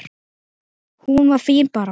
Hún var fín bara.